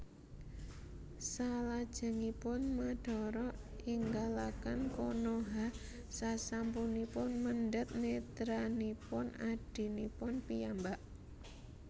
Salajengipun Madara ninggalaken Konoha sasampunipun mendhet netranipun adhinipun piyambak